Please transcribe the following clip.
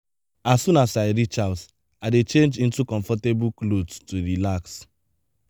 as soon as i reach house i dey change into comfortable clothes to relax.